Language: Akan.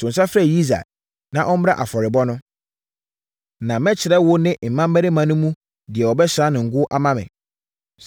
To nsa frɛ Yisai na ɔmmra afɔrebɔ no, na mɛkyerɛ wo ne mmammarima no mu deɛ wobɛsra no ngo ama me.”